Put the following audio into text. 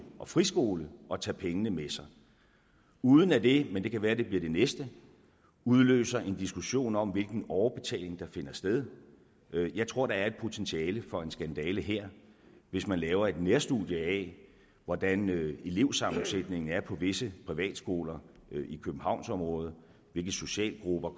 og friskole og tage pengene med sig uden at det men det kan være det bliver det næste udløser en diskussion om hvilken overbetaling der finder sted jeg tror der er et potentiale for en skandale her hvis man laver et nærstudie af hvordan elevsammensætningen er på visse privatskoler i københavnsområdet hvilke socialgrupper